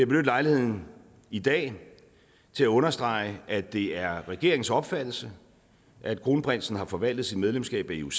lejligheden i dag til at understrege at det er regeringens opfattelse at kronprinsen har forvaltet sit medlemskab af ioc